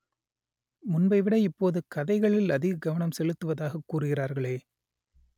முன்பைவிட இப்போது கதைகளில் அதிக கவனம் செலுத்துவதாக கூறுகிறார்களே